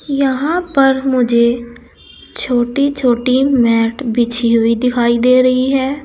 यहां पर मुझे छोटी छोटी मैट बिछी हुई दिखाई दे रही है।